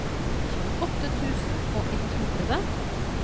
tjueåtte tusen og ett hundre